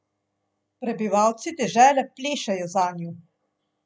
Prebivalci dežele plešejo zanju.